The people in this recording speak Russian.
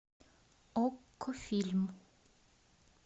окко фильм